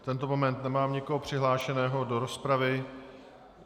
V tento moment nemám nikoho přihlášeného do rozpravy.